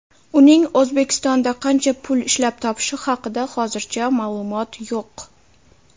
Uning O‘zbekistonda qancha pul ishlab topishi haqida hozircha ma’lumot yo‘q.